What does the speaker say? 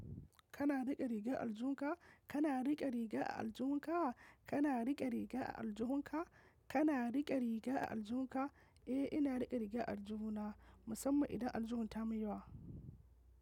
Kana riƙe rigan aljihun ka? Kana riƙe riga aljuhu ka? Kana riƙe riga aljuhu ka? Kana riƙe riga aljuhu ka? Eh, ina riƙe rigar aljuhuna. Musamman idan aljuhun ta mun yawa.